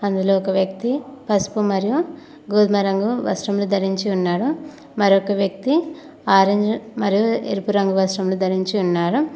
అందులో ఒక వ్యక్తి పసుపు మరియు గోధుమ రంగు వస్త్రములు ధరించి ఉన్నాడు మరొక వ్యక్తి ఆరంజ్ మరియు ఎరుపు రంగు వస్త్రములు ధరించి ఉన్నారు.